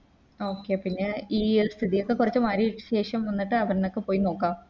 Okay പിന്നെയി സ്ഥിതിയൊക്കെ കൊറച്ച് മാറിട്ട് ശേഷം ന്നിട്ട് അവര്നോക്കെ പോയി നോക്കാം